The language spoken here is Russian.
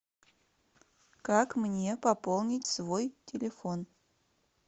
как мне пополнить свой телефон